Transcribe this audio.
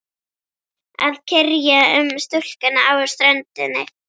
Að kyrja um stúlkuna á ströndinni.